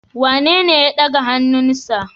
Wanene ya daga hannunsa?